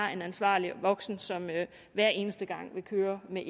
er en ansvarlig voksen som hver eneste gang vil køre med